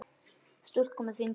Stúlka með fingur.